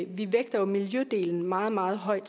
vi vægter miljødelen meget meget højt